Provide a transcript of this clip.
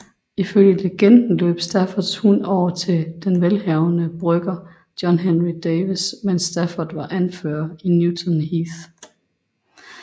Ifølge legenden løb Staffords hund over til den velhavende brygger John Henry Davies medens Stafford var anfører i Newton Heath